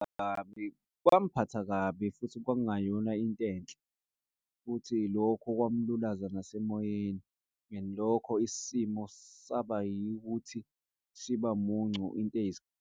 Kwangiphatha kabi, futhi kwangungayona into enhle futhi, lokhu kwamlulaza nasemoyeni and lokho isimo saba yikho ukuthi siba muncu .